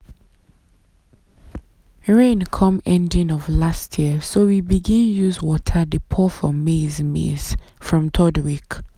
rain come ending of last year so we begin use water dey pour for maize maize from third week.